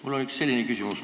Mul on üks selline küsimus.